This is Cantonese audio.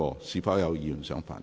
是否有議員想發言？